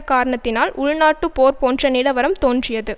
காரணத்தினால் உள்நாட்டு போர்போன்ற நிலவரம் தோன்றியது